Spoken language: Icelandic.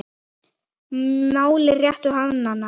máli réttu hallar hann